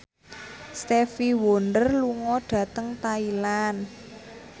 Stevie Wonder lunga dhateng Thailand